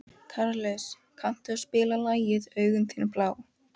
Karles, kanntu að spila lagið „Augun þín blá“?